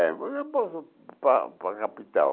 É mas eu posso para para a capital,